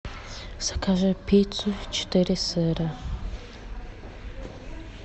закажи пиццу четыре сыра